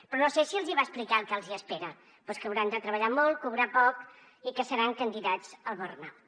però no sé si els va explicar el que els espera però és que hauran de treballar molt cobrar poc i que seran candidats al burnout